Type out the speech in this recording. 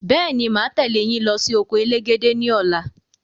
Bẹ́ẹ̀ni, máa tẹ leyin lọ sí oko elégédé ni ọ̀la